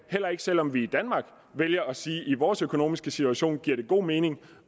heller ikke selv om vi i danmark vælger at sige at det i vores økonomiske situation giver god mening